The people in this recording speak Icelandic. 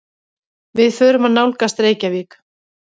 Við förum að nálgast Reykjavík.